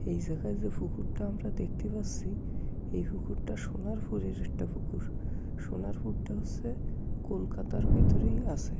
এই জায়গায় যে পুকুরটা আমরা দেখতে পাচ্ছি এই পুকুরটা সোনার পুরের একটা পুকুর সোনার পুর টা হচ্ছে কোলকাতার ভেতরেই আছে।